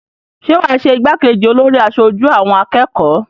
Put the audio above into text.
Ṣé wà á ṣe igbákejì olórí aṣojú àwọn akẹ́kọ̀ọ́?